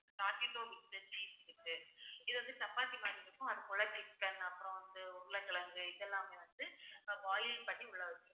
socketo இருக்கு. இது வந்து சப்பாத்தி மாதிரி இருக்கும். அது கூட chicken அப்புறம் வந்து உருளைக்கிழங்கு இது எல்லாமே வந்து boil பண்ணி உள்ள வச்சிருப்பாங்க